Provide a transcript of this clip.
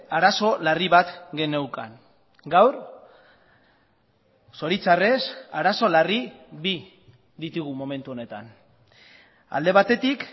arazo larri bat geneukan gaur zoritxarrez arazo larri bi ditugu momentu honetan alde batetik